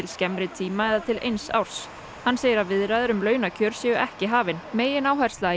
skemmri tíma eða til eins árs hann segir að viðræður um launakjör séu ekki hafin megináhersla